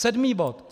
Sedmý bod.